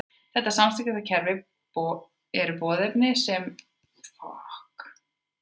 Þetta samskiptakerfi eru boðefni sem þær gefa frá sér, hreyfingar og hegðun ýmiss konar.